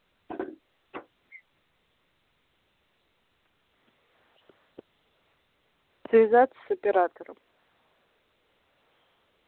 связаться с оператором